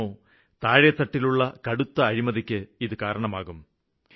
ഫലമോ താഴെത്തട്ടിലുള്ള കടുത്ത അഴിമതിക്ക് ഇത് കാരണമാകും